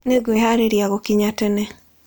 Nĩ ngwĩhaarĩria gũkinya tene.